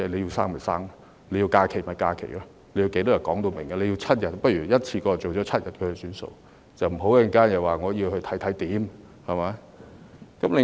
要生便生，要假期便要放假，要多少天也可說明，如果要7天，倒不如一次過訂為7天，不要之後又說要檢討情況，對嗎？